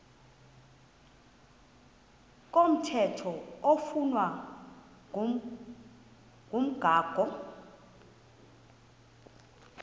komthetho oflunwa ngumgago